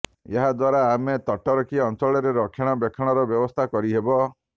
ଏହାଦ୍ୱାରା ଆମେ ତଟରଖି ଅଞ୍ଚଳରେ ରକ୍ଷଣା ବେକ୍ଷଣର ବ୍ୟବସ୍ଥା କରିହେବ